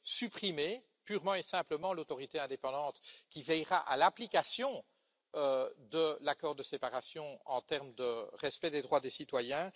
supprimer purement et simplement l'autorité indépendante qui veillera à l'application de l'accord de séparation en termes de respect des droits des citoyens.